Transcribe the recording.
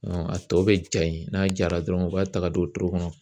a tɔ bɛ ja yen n'a jara dɔrɔnw, u b'a ta k'a don wotoro kɔnɔ.